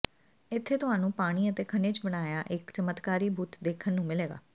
ਇੱਥੇ ਤੁਹਾਨੂੰ ਪਾਣੀ ਅਤੇ ਖਣਿਜ ਬਣਾਇਆ ਇੱਕ ਚਮਤਕਾਰੀ ਬੁੱਤ ਦੇਖਣ ਨੂੰ ਮਿਲੇਗਾ